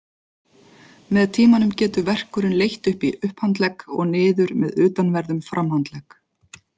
Með tímanum getur verkurinn leitt upp í upphandlegg og niður með utanverðum framhandlegg.